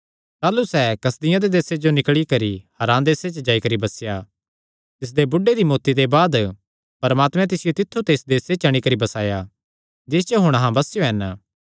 ताह़लू सैह़ कसदियां दे देसे ते निकल़ी करी हारान सैहरे च जाई बसेया तिसदे बुढ़े दी मौत्ती दे बाद परमात्मैं तिसियो तित्थु ते इस देसे च अंणी करी बसाया जिस च हुण अहां बसेयो हन